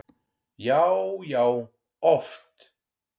Já, já oft.